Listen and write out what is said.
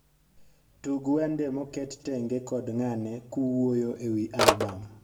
tug wende moket tenge kod ngane kuwuoyo ewi albam